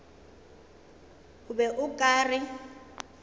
o be o ka re